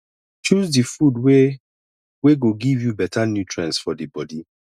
choose di food wey wey go give you better nutrients for di bodi